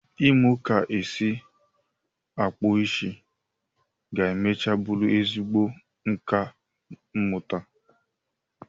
ịmu ka esi akpụ isi ga-mecha bụrụ ezigbo nka mmụta